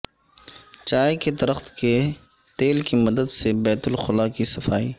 چائے کے درخت کے تیل کی مدد سے بیت الخلا کی صفائی